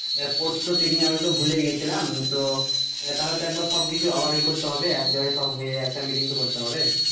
আহ পরশু তো পিকনিক আমি তো ভুলেই গিয়েছিলাম তো আহ তাহলে তো একবার সব কিছু আবার ইয়ে করতে হবে এক জায়গায় সব হয়ে একটা meeting তো করতে হবে।